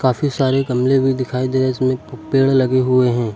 काफी सारे गमले भी दिखाई दे रहे हैं। इसमें पेड़ लगे हुए हैं।